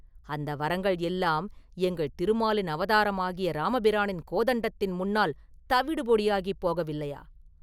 அந்த வரங்கள் எல்லாம் எங்கள் திருமாலின் அவதாரமாகிய இராமபிரானின் கோதண்டத்தின் முன்னால் தவிடுபொடியாகப் போகவில்லையா?